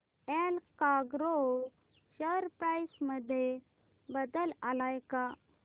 Allcargo share price मध्ये बदल आलाय का